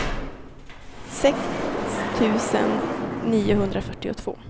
sex tusen niohundrafyrtiotvå